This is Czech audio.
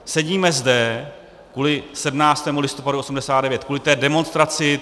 Sedíme zde kvůli 17. listopadu 1989, kvůli té demonstraci.